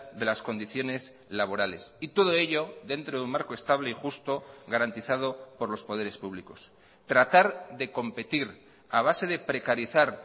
de las condiciones laborales y todo ello dentro de un marco estable y justo garantizado por los poderes públicos tratar de competir a base de precarizar